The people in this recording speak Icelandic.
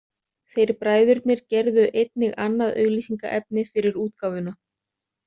Þeir bræðurnir gerðu einnig annað auglýsingaefni fyrir útgáfuna.